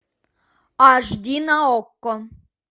аш ди на окко